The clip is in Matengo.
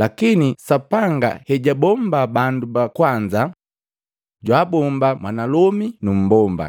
Lakini Sapanga hejaabomba bandu bakwanza, jwaabomba mwanalomi numbomba